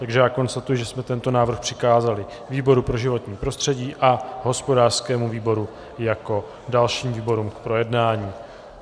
Takže já konstatuji, že jsme tento návrh přikázali výboru pro životní prostředí a hospodářskému výboru jako dalším výborům k projednání.